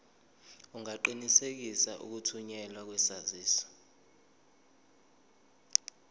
ungaqinisekisa ukuthunyelwa kwesaziso